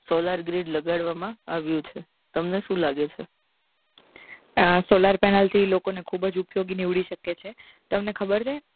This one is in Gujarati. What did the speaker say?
Solar grade લગાડવવા માં આવ્યું છે તમને શું લાગે છે આ solar panel થી લોકો ને ખુબ જ ઉપયોગ નીવડી શકે છે તમને ખબર